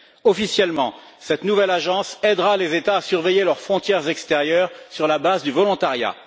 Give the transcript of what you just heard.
Officiellement, cette nouvelle agence aidera les États à surveiller leurs frontières extérieures sur la base du volontariat.